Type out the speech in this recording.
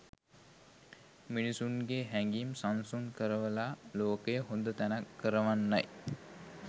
මිනිස්සුන්ගේ හැඟීම් සංසුන් කරවලා ලෝකය හොඳ තැනක් කරවන්නයි.